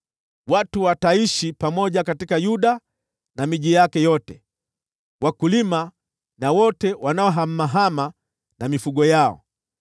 Watu wataishi pamoja katika Yuda na miji yake yote, wakulima na wote wanaohamahama na mifugo yao.